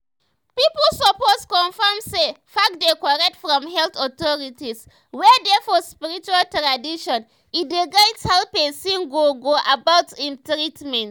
pipu suppose confirm say facts dey korrect from health authorities wey dey for spiritual traditions e dey guide how pesin go go about im treatment.